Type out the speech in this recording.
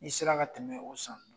I sera ka tɛmɛ o san.